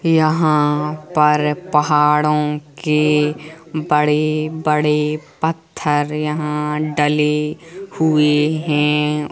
यहाँ पर पहाड़ों के बड़े बड़े पत्थर यहां डलें हुए हैं।